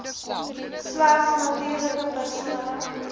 slegs natuurlike persone